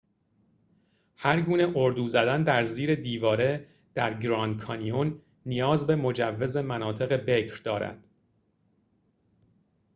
هرگونه اردو زدن در زیر دیواره در گراند کانیون نیاز به مجوز مناطق بکر دارد